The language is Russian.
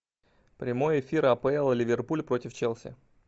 прямой эфир апл ливерпуль против челси